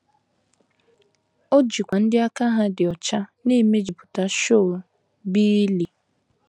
O jikwa ndị aka ha dị ọcha na - emejupụta Sheol, bụ́ ili.